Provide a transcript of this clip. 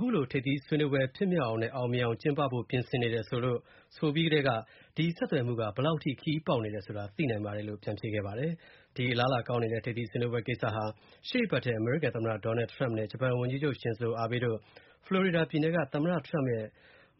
ခုလို ထိပ်သီးဆွေးနွေးပွဲ အောင်မြင်အောင်ကျင်းဖို့ ပြင်ဆင်နေတယ်လို့ ဆိုပြီးကတည်းက၊ ဒီ ဆက်သွယ်မှု ဘယ်လောက် ခရီးပေါက်နေတယ်ဆိုတာ သိနိုင်ပါတယ်လို့ ပြန်ဖြေခဲ့ပါတယ်။ ဒီ အလားအလာကောင်းနေတဲ့ ထိပ်သီးဆွေးနွေးပွဲကိစ္စဟာ ရှေ.အပတ်ထဲ အမေရိကန် သမ္မတ Donald Trump နဲ့ ဂျပန်ဝန်ကြီးချုပ် Shinzo Abe တို့ ဖလိုရီဒါပြည်နယ်က သမ္မတ Trump ရဲ့